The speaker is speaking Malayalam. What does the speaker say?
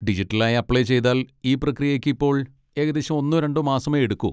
ഡിജിറ്റലായി അപ്ലൈ ചെയ്താൽ ഈ പ്രക്രിയയ്ക്ക് ഇപ്പോൾ ഏകദേശം ഒന്നോ രണ്ടോ മാസമേ എടുക്കൂ.